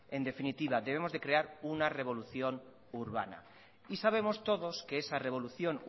en definitiva debemos de crear una revolución urbana y sabemos todos que esa revolución